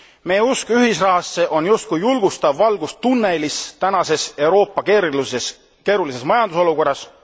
Meie usk ühisrahasse on just kui julgustav valgus tunnelis tänases Euroopa keerulises majandusolukorras.